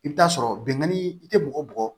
I bɛ taa sɔrɔ benkanni i tɛ bɔgɔ bɔn